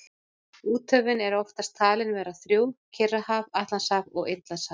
Úthöfin eru oftast talin vera þrjú, Kyrrahaf, Atlantshaf og Indlandshaf.